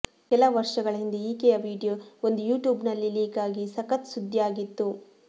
ಕೆಲ ವರ್ಷಗಳ ಹಿಂದೆ ಈಕೆಯ ವಿಡಿಯೋ ಒಂದು ಯೂಟ್ಯೂಬ್ ನಲ್ಲಿ ಲೀಕ್ ಆಗಿ ಸಖತ್ ಸುದ್ದಿ ಆಗಿತ್ತು